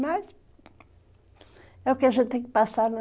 Mas é o que a gente tem que passar, né.